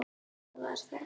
Svo varð þögn.